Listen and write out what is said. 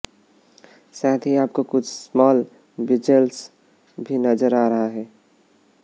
साथ ही आपको कुछ स्मॉल बेजल्स भी नजर आ रहे हैं